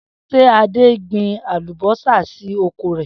S̩e Adé gbin àlùbó̩sà sí oko rè̩?